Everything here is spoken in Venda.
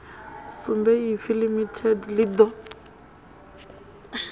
sumbe ipfi limited ḽi ḓo